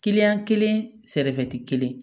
kelen sɛrɛfɛ kelen